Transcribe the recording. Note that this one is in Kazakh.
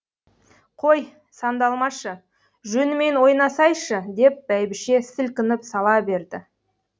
қой сандалмашы жөнімен ойнасайшы деп бәйбіше сілкініп сала берді